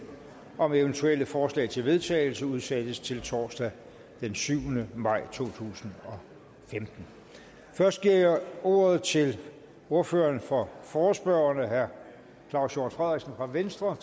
om eventuelle forslag til vedtagelse udsættes til torsdag den syvende maj to tusind og femten først giver jeg ordet til ordføreren for forespørgerne herre claus hjort frederiksen fra venstre